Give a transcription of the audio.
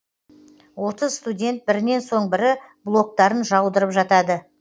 отыз студент бірінен соң бірі блоктарын жаудырып жатады